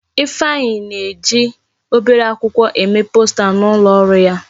Ifeanyi na-eji obere akwụkwọ eme posta n'ulo oru ya.